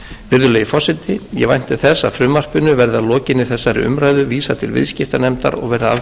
virðulegi forseti ég vænti þess að frumvarpinu verði að lokinni þessari umræðu vísað til viðskiptanefndar og verði afgreitt hið fyrsta